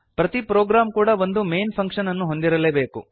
ಪ್ರತಿ ಪ್ರೊಗ್ರಾಮ್ ಕೂಡಾ ಒಂದು ಮೈನ್ ಫಂಕ್ಷನ್ ಅನ್ನು ಹೊಂದಿರಲೇಬೇಕು